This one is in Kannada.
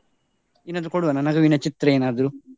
ಏನಾದ್ರೂ ಕೊಡುವನ ನಗುವಿನ ಚಿತ್ರ ಏನಾದ್ರು?